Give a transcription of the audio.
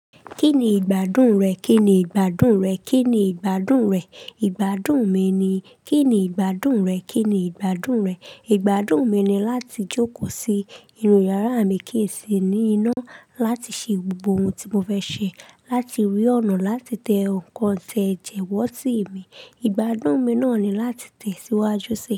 Kí ni ìgbádùn rẹ̀? Kí ni ìgbádùn rẹ̀? Kí ni ìgbádùn rẹ́? Ìgbádùn mi ni. Kí ni ìgbádùn rẹ̀? Kí ni ìgbádùn rẹ̀? Ìgbádùn mi ni láti jókòó sí inú yàrá mi, kí n sì ní iná láti ṣe gbogbo oún tí mo fẹ́ ṣe, láti rí ọ̀nà láti tẹ nǹkan tẹ̀jẹ̀ wọ́tí mi. Ìgbádùn mi náà ni láti tẹ́síwájú sí.